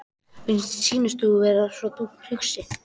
Mér sýnist þú vera svo þungt hugsi.